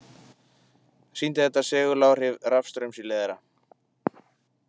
Sýndi þetta seguláhrif rafstraums í leiðara.